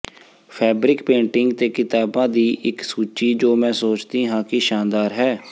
fabric painting ਤੇ ਕਿਤਾਬਾਂ ਦੀ ਇੱਕ ਸੂਚੀ ਜੋ ਮੈਂ ਸੋਚਦੀ ਹਾਂ ਕਿ ਸ਼ਾਨਦਾਰ ਹੈ